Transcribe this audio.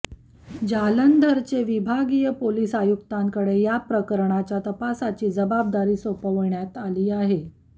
जालंधरचे विभागीय पोलीस आयुक्तांकडे याप्रकरणाच्या तपासाची जबाबदारी सोपवण्यात आली आहे